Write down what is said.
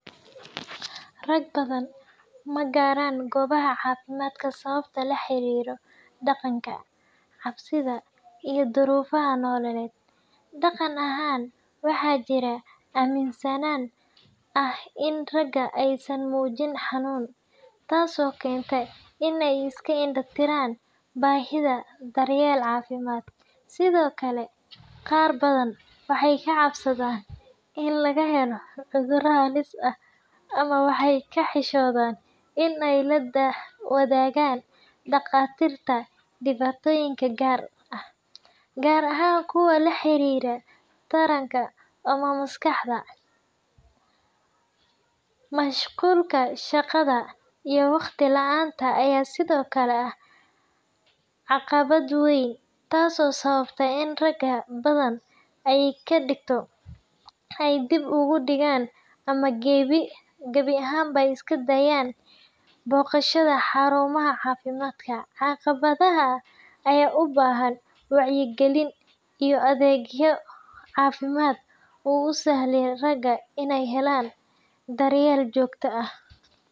Rag badan ma gaaraan goobaha caafimaadka sababo la xiriira dhaqanka, cabsida, iyo duruufaha nololeed. Dhaqan ahaan, waxaa jira aaminsanaan ah in ragga aysan muujin xanuun, taasoo keenta in ay iska indha tiraan baahida daryeel caafimaad. Sidoo kale, qaar badan waxay ka cabsadaan in laga helo cudurro halis ah ama waxay ka xishoodaan in ay la wadaagaan dhakhaatiirta dhibaatooyin gaar ah, gaar ahaan kuwa la xiriira taranka ama maskaxda. Mashquulka shaqada iyo waqti la’aanta ayaa sidoo kale ah caqabad weyn, taasoo sababta in rag badan ay dib u dhigaan ama gebi ahaanba iska daayaan booqashada xarumaha caafimaadka. Caqabadahan ayaa u baahan wacyigelin iyo adeegyo caafimaad oo u sahla ragga inay helaan daryeel joogto ah.